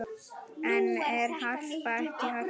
En er Harpa ekki Harpa?